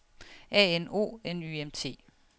A N O N Y M T